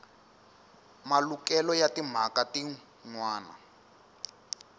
malukelo ya timhaka tin wana